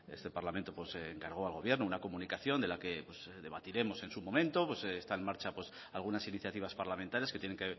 este parlamento encargó al gobierno una comunicación de la que debatiremos en su momento está en marcha algunas iniciativas parlamentarias que tienen